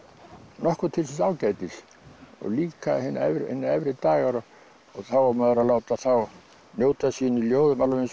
nokkuð til síns ágætis og líka hinir efri hinir efri dagar og þá á maður að láta þá njóta sín í ljóðum alveg eins og